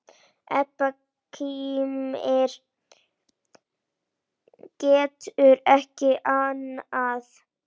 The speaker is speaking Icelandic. Edda kímir, getur ekki annað.